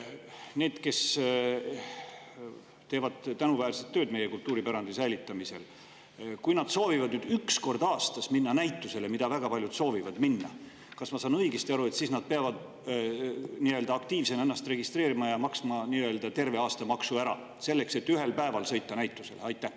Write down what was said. Kui need, kes teevad tänuväärset tööd meie kultuuripärandi säilitamisel, soovivad üks kord aastas minna näitusele – mida väga paljud soovivad teha –, kas ma saan õigesti aru, et siis nad peavad nii-öelda aktiivsena ennast registreerima ja maksma terve aasta maksu ära selleks, et ühel päeval sõita näitusele?